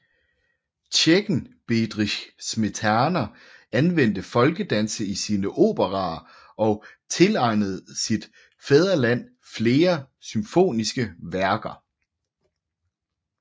Tjekken Bedrich Smetana anvendte folkedanse i sine operaer og tilegnede sit fædreland flere symfoniske værker